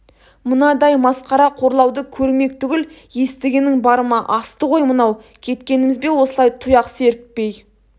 мынадай масқара қорлауды көрмек түгіл естігенің бар ма асты ғой мынау кеткеніміз бе осылай тұяқ серіппей